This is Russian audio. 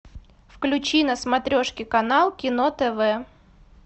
включи на смотрешке канал кино тв